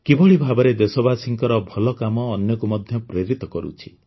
କିଭଳି ଭାବରେ ଦେଶବାସୀଙ୍କର ଭଲକାମ ଅନ୍ୟକୁ ମଧ୍ୟ ପ୍ରେରିତ କରୁଛି